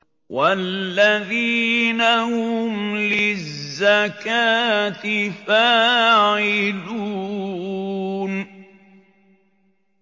وَالَّذِينَ هُمْ لِلزَّكَاةِ فَاعِلُونَ